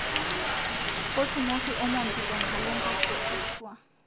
Kotumoki Omondi tengalo mpaso eetwua